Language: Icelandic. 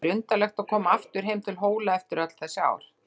Það var undarlegt að koma aftur heim til Hóla eftir öll þessi ár.